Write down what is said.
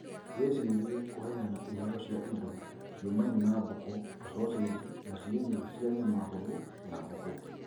Wĩcirie kuheana iheo cia indo ciumaine na mbũkũ ta soseji na cienyũ cia nyama hũthũ ya mbũkũ